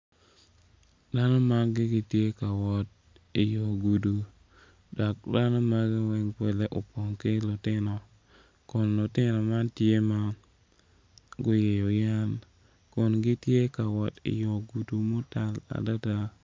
Dano magi gitye ka wot i yo gudo dok dano magi weng opong ki lutino kun lutino man tye ma guyeyo yen kun gitye ka wot i yo gudo mutal adada.